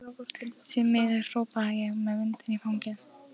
Því miður, hrópa ég með vindinn í fangið.